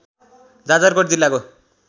जाजरकोट जिल्लाको